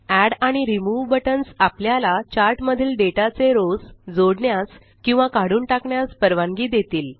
add आणि remove buttons आपल्याला chart मधील डेटा चे रोस जोडण्यास किंवा काढून टाकण्यास परवानगी देतील